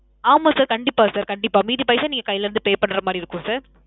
ஆமாம் sir. கண்டிப்பா sir. கண்டிப்பா. மீதி பைசா நீங்க கைல இருந்து pay பண்ற மாறி இருக்கும் sir.